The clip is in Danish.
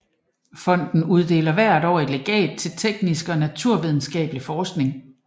Fonden uddeler hvert år et legat til teknisk og naturvidenskabelig forskning